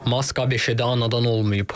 Mask ABŞ-də anadan olmayıb.